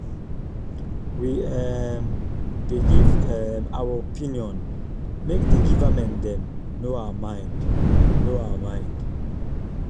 we um dey give um our opinion make di givernment dem know our mind. know our mind.